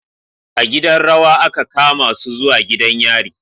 A gidan rawa aka kamasu zuwa gidan yari